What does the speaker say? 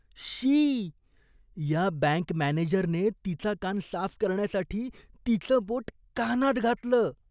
शी. या बँक मॅनेजरने तिचा कान साफ करण्यासाठी तिचं बोट कानात घातलं.